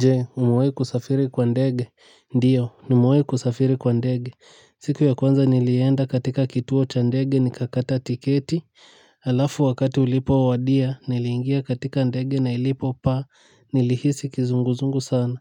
Je, umewai kusafiri kwa ndege. Ndiyo, nimewai kusafiri kwa ndege. Siku ya kwanza nilienda katika kituo cha ndege nikakata tiketi. Alafu wakati ulipowadia, niliingia katika ndege na ilipopaa, nilihisi kizunguzungu sana.